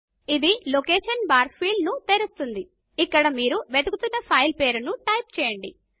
ఇది location bar field ను తెరుస్తుంది ఇక్కడ మీరు వెతుకుతున్న ఫైల్ పేరును టైప్ చేయండి